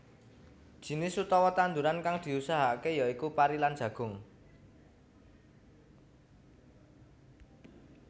Jinis utama tanduran kan diusahakake ya iku pari lan jagung